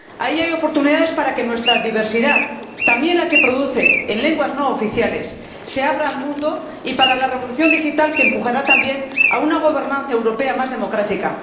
Ahí hay oportunidades para que nuestra diversidad —también la que produce en lenguas no oficiales— se abra al mundo y para llevar a cabo la revolución digital, que impulsará también una gobernanza europea más democrática.